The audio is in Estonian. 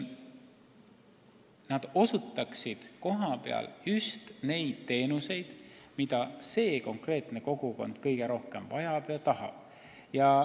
Tahaksin, et nad osutaksid kohapeal just neid teenuseid, mida konkreetne kogukond kõige rohkem vajab ja tahab.